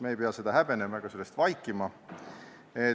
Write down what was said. Me ei pea seda häbenema ega sellest vaikima.